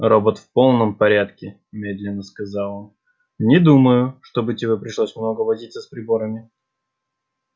робот в полном порядке медленно сказал он не думаю чтобы тебе пришлось много возиться с приборами